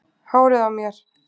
Hárið á mér?